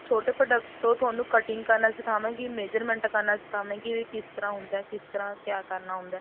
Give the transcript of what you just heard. ਛੋਟੇ product ਤੋਂ ਤੁਹਾਨੂੰ cutting ਕਰਨਾ ਸਿਖਾਵਾਂਗੀ measurement ਕਰਨਾ ਸਿਖਾਵਾਂਗੀ ਵੀ ਕਿਸ ਤਰ੍ਹਾਂ ਹੁੰਦਾ ਕਿਸ ਤਰ੍ਹਾਂ ਕਿਆ ਕਰਨਾ ਹੁੰਦਾ